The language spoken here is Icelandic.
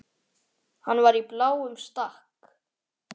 Það lét á sér standa.